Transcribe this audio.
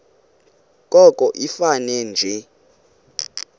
koko ifane nje